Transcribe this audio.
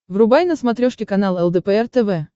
врубай на смотрешке канал лдпр тв